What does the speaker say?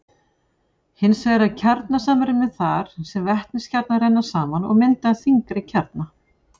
Hins vegar er kjarnasamruni þar sem vetniskjarnar renna saman og mynda þyngri kjarna.